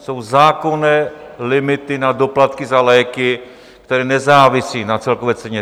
Jsou zákonné limity na doplatky za léky, které nezávisí na celkové ceně.